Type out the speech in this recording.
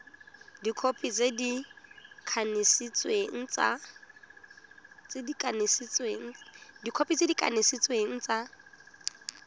dikhopi tse di kanisitsweng tsa